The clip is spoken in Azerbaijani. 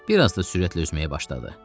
Bir az da sürətli üzməyə başladı.